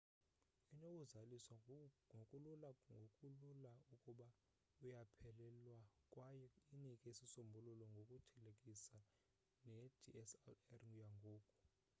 inokuzaliswa ngokulula ngokulula ukuba uyaphelelwa kwaye inike isisombululo ngokuthelekisa nedslr yangoku